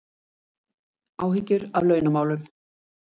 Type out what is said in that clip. Áhyggjur af launamálum